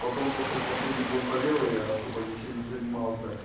потом просто он последний год болел и я особо ничем не занимался